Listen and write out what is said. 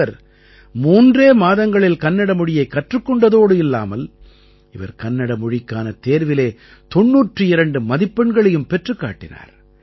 இவர் மூன்றே மாதங்களில் கன்னட மொழியைக் கற்றுக் கொண்டதோடு இல்லாமல் இவர் கன்னட மொழிக்கான தேர்விலே 92 மதிப்பெண்களையும் பெற்றுக் காட்டினார்